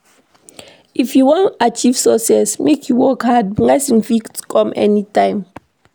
If you wan achieve success, make you work hard, blessing fit come anytime.